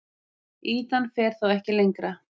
Ýtan fer þá ekki lengra.